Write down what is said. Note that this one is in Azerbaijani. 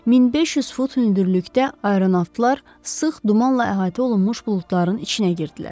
1500 fut hündürlükdə aeronavtlar sıx dumanla əhatə olunmuş buludların içinə girdilər.